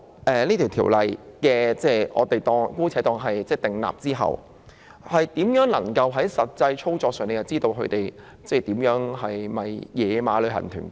假設《條例草案》獲得通過，我們如何能夠從實際操作知道哪些是"野馬"旅行團？